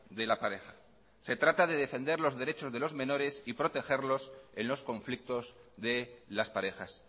de la pareja se trata de defender los derechos de los menores y protegerlos en los conflictos de las parejas